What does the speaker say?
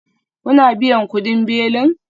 Kuna biyan kudin belin?